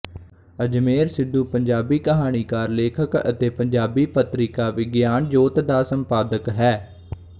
ਅਜਮੇਰ ਸਿੱਧੂ ਪੰਜਾਬੀ ਕਹਾਣੀਕਾਰ ਲੇਖਕ ਅਤੇ ਪੰਜਾਬੀ ਪਤਰਿਕਾ ਵਿਗਿਆਨ ਜੋਤ ਦਾ ਸੰਪਾਦਕ ਹੈ